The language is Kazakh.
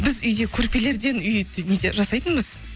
біз үйде көрпелерден үй жасайтынбыз